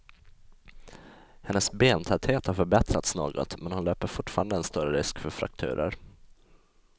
Hennes bentäthet har förbättrats något, men hon löper fortfarande en större risk för frakturer.